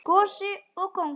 Gosi og kóngur.